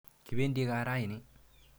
Kipendi kaa raini.